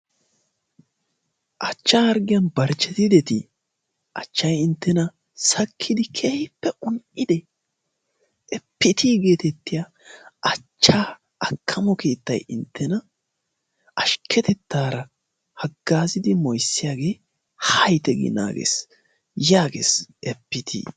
Achcha harggiyaan barchchetideti? achchay inttena sakkidi keehippe un"ide? Epiti getettiya achchaa akkamo keettay inttena ashkketettaara hagaazzidi moyssiyaagee ha yiite gi naagees. Yaagees Epitii.